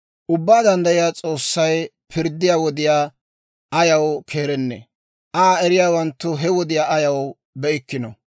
«Ubbaa Danddayiyaa S'oossay pirddiyaa wodiyaa ayaw keerennee? Aa eriyaawanttu he wodiyaa ayaw be'ikkinoo?